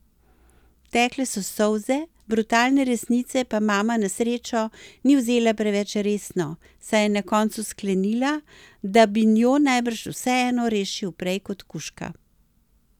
Tekle so solze, brutalne resnice pa mama na srečo ni vzela preveč resno, saj je na koncu sklenila, da bi njo najbrž vseeno rešil prej kot kužka.